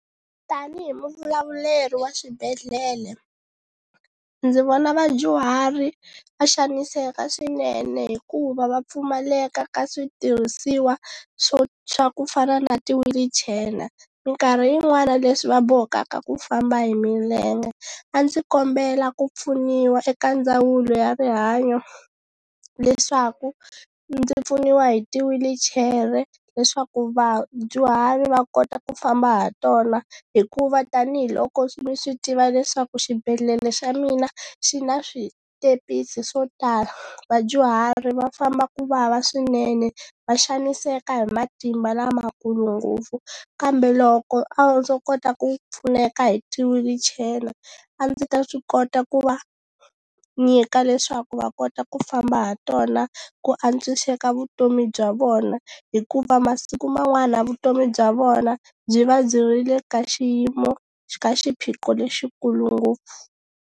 Tanihi muvulavuleri wa swibedhlele ndzi vona vadyuhari va xaniseka swinene hikuva va pfumaleka ka switirhisiwa swo swa ku fana na ti-wheelchair minkarhi yin'wani leswi va bohekaka ku famba hi milenge a ndzi kombela ku pfuniwa eka ndzawulo ya rihanyo leswaku ndzi pfuniwa hi tiwilichere leswaku vadyuhari va kota ku famba ha tona hikuva tanihiloko mi swi tiva leswaku xibedhlele xa mina xi na switepisi swo tala vadyuhari va famba ku vava swinene va xaniseka hi matimba lamakulu ngopfu kambe loko a ndzo kota ku pfuneka hi ti-wheelchair a ndzi ta swi kota ku va nyika leswaku va kota ku famba ha tona ku antswiseka vutomi bya vona hikuva masiku man'wana vutomi bya vona byi va byi ri le ka xiyimo ka xiphiqo lexikulu ngopfu.